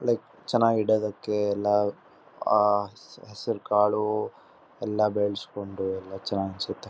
ಒಳ್ಳೆ ಚನ್ನಾಗಿ ಇಡದಕ್ಕೆ ಎಲ್ಲ ಆಹ್ ಹಸಿರಕಾಳು ಎಲ್ಲಾ ಬೆಳಸಕೊಂಡು ಎಲ್ಲಾ ಚನ್ನಾಗಿ ಅನ್ನ್ಸುತ್ತೆ .